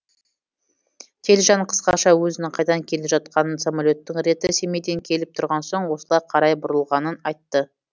телжан қысқаша өзінің қайдан келе жатқанын самолеттің реті семейден келіп тұрған соң осылай қарай бұрылғанын айтты